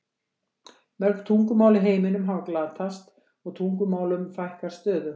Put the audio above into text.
Mörg tungumál í heiminum hafa glatast og tungumálum fækkar stöðugt.